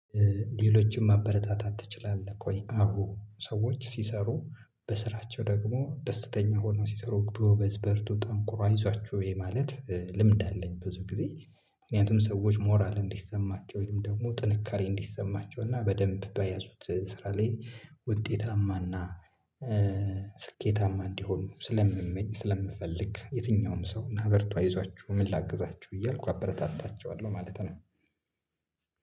ሌሎችን ማበረታታት ትችላለህ ቆይ አሁ ሰዎች ሲሰሩ በስራቸው ደግሞ ደስተኛ ሆነው ሲሰሩ ጎበዝ በርቱ ጠንክሮ አይዟችው ይሄ ማለት ልምድ አለኝ ብዙ ጊዜ ምክንያቱም ሰዎች ሞራል እንዲሰማቸው ወይም ደግሞ ጥንካሬ እንዲሰማቸው እና በደንብ በያዙት ስራ ላይ ውጤታማና ስኬታማ እንዲሆን ስለምመኝ ስለምፈልግ የትኛውም ሰው እና በርቱ አይዟችሁ ምን ላግዛችሁ እያልኩ አበረታታቸዋለሁ ማለት ነው።